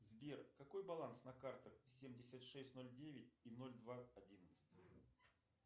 сбер какой баланс на картах семьдесят шесть ноль девять и ноль два одиннадцать